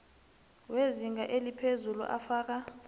wezinga eliphezulu afaka